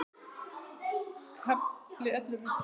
KAFLI ELLEFU